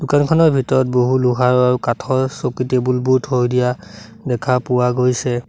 দোকানখনৰ ভিতৰত বহু লোহাৰ আৰু কাঠৰ চকী টেবুল বোৰ থৈ দিয়া দেখা পোৱা গৈছে।